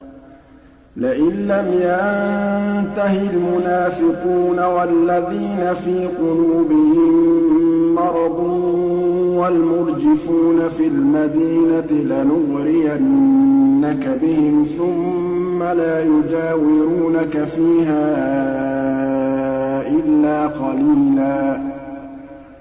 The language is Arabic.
۞ لَّئِن لَّمْ يَنتَهِ الْمُنَافِقُونَ وَالَّذِينَ فِي قُلُوبِهِم مَّرَضٌ وَالْمُرْجِفُونَ فِي الْمَدِينَةِ لَنُغْرِيَنَّكَ بِهِمْ ثُمَّ لَا يُجَاوِرُونَكَ فِيهَا إِلَّا قَلِيلًا